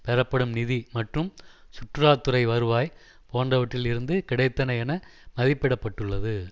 பெறப்படும் நிதி மற்றும் சுற்றுலா துறை வருவாய் போன்றவற்றில் இருந்து கிடைத்தன என மதிப்பிட பட்டுள்ளது